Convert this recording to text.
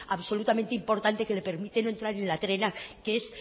absolutamente importante que le permite entrar en la trena que es